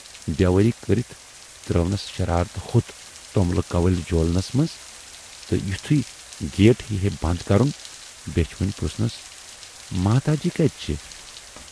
"بیوٲری کٔرِتھ ترٲونَس شرارتہٕ ہوت توملہٕ کوٕلۍ جولنَس منز تہٕ یِتھُے گیٹ ہیہِ ہَے بَند کَرُن بیچھِ وٕنۍ پُرٕژھنَس"ماتا جی کَتہِ چھِ؟